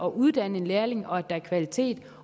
uddanne en lærling og at der er kvalitet